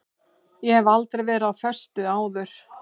Ég hef aldrei verið á föstu áður.